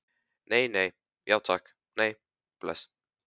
Nei, nei, já takk, nei, bless.